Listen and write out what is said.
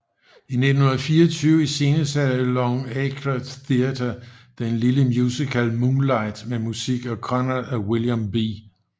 I 1924 iscenesatte Longacre Theatre den lille musical Moonlight med musik af Conrad og William B